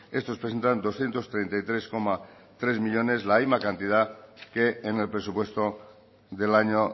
estos presentan doscientos treinta y tres coma tres millónes la misma cantidad que en el presupuesto del año